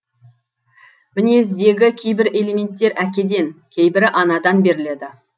мінездегі кейбір элементтер әкеден кейбірі анадан беріледі